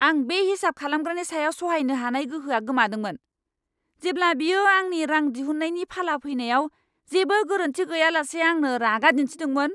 आं बे हिसाब खालामग्रानि सायाव सहायनो हानाय गोहोआ गोमादोंमोन, जेब्ला बियो आंनि रां दिहुन्नायनि फाला फैनायाव जेबो गोरोन्थि गैयालासे आंनो रागा दिन्थिदोंमोन!